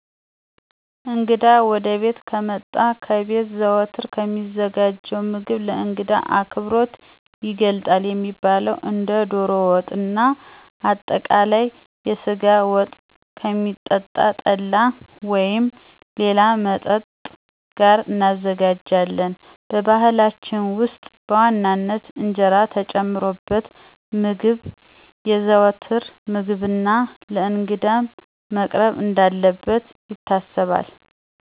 እንግዳ ወደቤት ከመጣ ከቤት ዘወትር ከሚዘጋጀው ምግብ ለእንግዳ አክብሮት ይገልጣል የሚባለውን እንደ ዶሮ ወጥና አጠቃለይ የስጋ ወጥ፣ ከሚጠጣ ጠላ ወይም ሌላ መጠጥ ጋር እናዘጋጃለን። በባህላችን ውስጥ በዋናነት እንጀራ የተጨመረበት ምግብ የዘዎትር ምግብና ለእንግዳም መቅረብ እንዳለበት ይታሰባል።